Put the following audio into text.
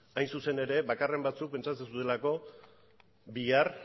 hain zuzen ere bakarren batzuk pentsatzen zutelako bihar